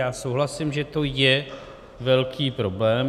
Já souhlasím, že to je velký problém.